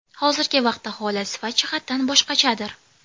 Hozirgi vaqtda holat sifat jihatdan boshqachadir.